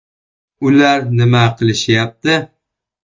Ular nima qilishyapti?